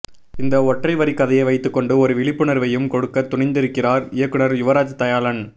இந்த ஒற்றை வரிக் கதையை வைத்துக்கொண்டு ஒரு விழிப்புணர்வையும் கொடுக்கத் துணிந்திருக்கிறார் இயக்குநர் யுவராஜ் தயாளன்